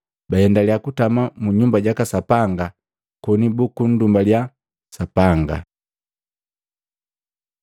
Baendaliya kutama mu Nyumba jaka Sapanga koni bukundumbalya Sapanga.